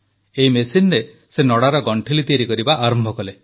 ଏହି ମେସିନରେ ସେ ନଡ଼ାର ଗଣ୍ଠିଲି ତିଆରି କରିବା ଆରମ୍ଭ କଲେ